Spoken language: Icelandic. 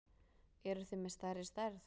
Eruð þið með stærri stærð?